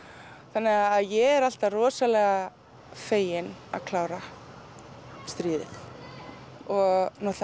þannig að ég er alltaf rosalega fegin að klára stríðið og